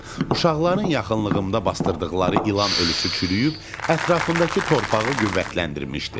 Uşaqların yaxınlığımda basdırdıqları ilan ölüsü çürüyüb ətrafındakı torpağı qüvvətləndirmişdi.